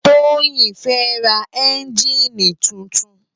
Toyin fè rá ènjini tútún